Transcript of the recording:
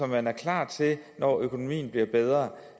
man er klar til når økonomien bliver bedre